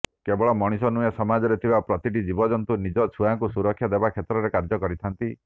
କେବଳ ମରିଷ ନୁହେଁ ସମାଜରେ ଥିବା ପ୍ରତିଟି ଜୀବଯନ୍ତୁ ନିଜର ଛୁଆଙ୍କୁ ସୁରକ୍ଷା ଦେବା କ୍ଷେତ୍ରରେ କାର୍ଯ୍ୟ କରିଥାନ୍ତି